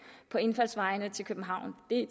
på indfaldsvejene til københavn det